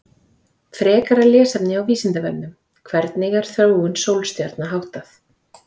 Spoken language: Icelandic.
Frekara lesefni á Vísindavefnum: Hvernig er þróun sólstjarna háttað?